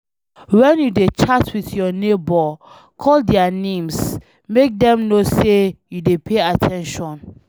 When you dey chat with your neigbour, call their names, make dem know say you dey pay at ten tion